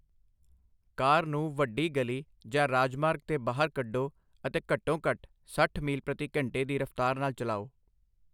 ਕਾਰ ਨੂੰ ਵੱਡੀ ਗਲੀ ਜਾਂ ਰਾਜਮਾਰਗ 'ਤੇ ਬਾਹਰ ਕੱਢੋ ਅਤੇ ਘੱਟੋ ਘੱਟ ਸੱਠ ਮੀਲ ਪ੍ਰਤੀ ਘੰਟੇ ਦੀ ਰਫ਼ਤਾਰ ਨਾਲ ਚਲਾਓ।